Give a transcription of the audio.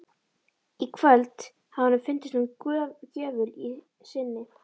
Í kvöld hafði honum fundist hún gjöful í sinni.